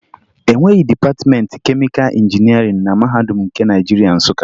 E nweghi dịpatịmentị kemịka injinịarịn na Mahadum nke Naịjirịa, Nsụka